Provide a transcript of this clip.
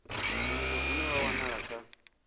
zwino une wa wanala kha